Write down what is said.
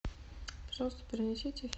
пожалуйста принесите